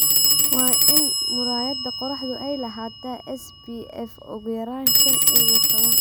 Waa in muraayadda qorraxdu ay lahaataa SPF ugu yaraan shaan iyo tobaan .